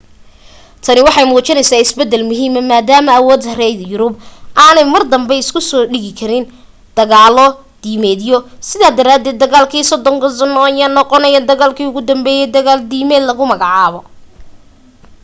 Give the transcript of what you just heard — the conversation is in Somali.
tani waxay muujisay isbeddel muhiima maadaama awoodda reer yurubku aanay mar danbe isu soo dhigi karin dagaalo diimeedyo sidaa daraadeed dagaalkii soddonka sanno ayaa noqonaya dagaalkii ugu dambeeyay dagaal diimeed lagu magacaabo